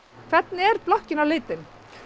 hvernig er blokkin á litinn